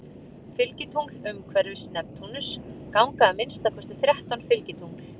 Fylgitungl Umhverfis Neptúnus ganga að minnsta kosti þrettán fylgitungl.